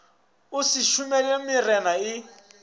o se šomele marena a